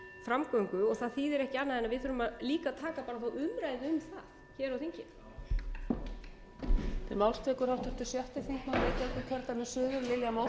framgöngu og það þýðir ekki annað en við þurfum að taka þá umræðu um það hér á þingi